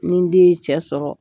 Ni n den ye cɛ sɔrɔ